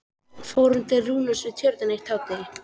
Fórum til Rúnars Við Tjörnina eitt hádegi.